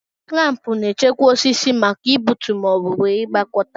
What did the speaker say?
Klampu na-echekwa osisi maka igbutu ma ọ bụ ịgbakọta.